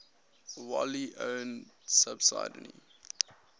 wholly owned subsidiary